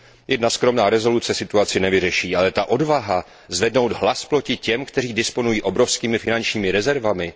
Jedna skromná rezoluce situaci nevyřeší, ale ta odvaha zvednout hlas proti těm, kteří disponují obrovskými finančními rezervami.